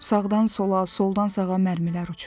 Sağdan sola, soldan sağa mərmilər uçur.